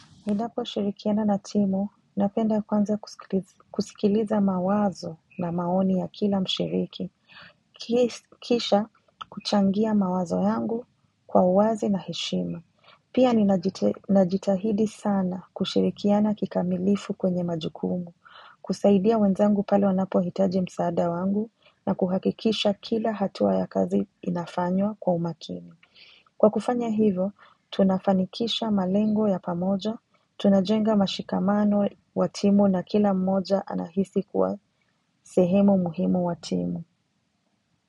Ninaposhirikiana na timu, napenda kwanza kusikiliza mawazo na maoni ya kila mshiriki. Kisha kuchangia mawazo yangu kwa uwazi na heshima. Pia najitahidi sana kushirikiana kikamilifu kwenye majukumu. Kusaidia wenzangu pale wanapohitaji msaada wangu na kuhakikisha kila hatuwa ya kazi inafanywa kwa umakini. Kwa kufanya hivo, tunafanikisha malengo ya pamoja. Tunajenga mashikamano wa timu na kila mmoja anahisi kuwa sehemu muhimu wa timu.